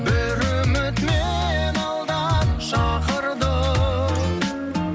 бір үміт мені алдан шақырды